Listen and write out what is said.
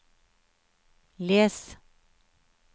les